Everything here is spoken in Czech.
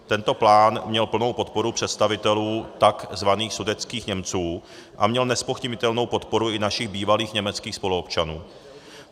Tento plán měl plnou podporu představitelů takzvaných sudetských Němců a měl nezpochybnitelnou podporu i našich bývalých německých spoluobčanů.